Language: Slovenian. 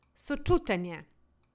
Sočuten je.